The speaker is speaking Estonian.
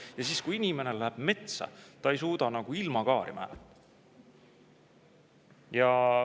Ja siis, kui inimene läheb metsa, ta ei suuda ilmakaari määrata!